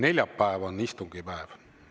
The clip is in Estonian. Neljapäev on istungipäev.